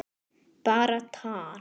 Bara tal.